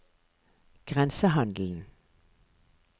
grensehandelen